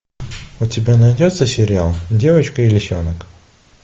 у тебя найдется сериал девочка и лисенок